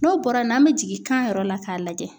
N'o bɔra n'an bɛ jigin kan yɔrɔ la k'a lajɛ.